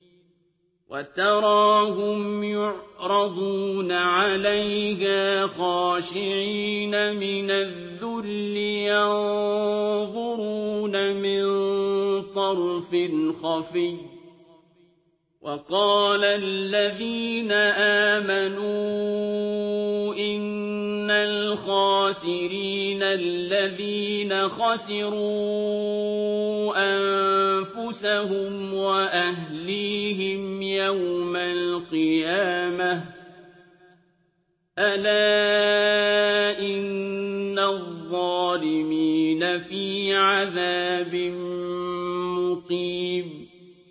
وَتَرَاهُمْ يُعْرَضُونَ عَلَيْهَا خَاشِعِينَ مِنَ الذُّلِّ يَنظُرُونَ مِن طَرْفٍ خَفِيٍّ ۗ وَقَالَ الَّذِينَ آمَنُوا إِنَّ الْخَاسِرِينَ الَّذِينَ خَسِرُوا أَنفُسَهُمْ وَأَهْلِيهِمْ يَوْمَ الْقِيَامَةِ ۗ أَلَا إِنَّ الظَّالِمِينَ فِي عَذَابٍ مُّقِيمٍ